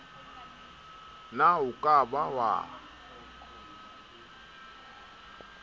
na o ka ba wa